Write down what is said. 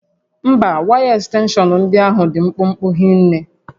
Mba, waya ekstenshọn ndị ahụ dị mkpụmkpụ hinne